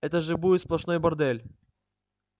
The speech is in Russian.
это же будет сплошной бордель